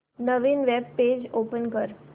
नवीन web page open कर